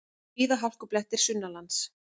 Víða hálkublettir sunnanlands